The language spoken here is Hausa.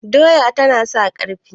doya tana sa ƙarfi